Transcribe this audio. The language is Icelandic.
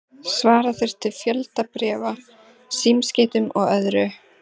Svara þurfti fjölda bréfa, símskeytum og öðru.